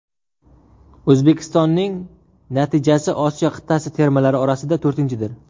O‘zbekistonning natijasi Osiyo qit’asi termalari orasida to‘rtinchidir.